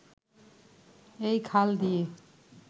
এই খাল দিয়ে